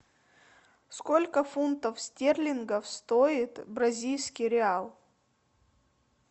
сколько фунтов стерлингов стоит бразильский реал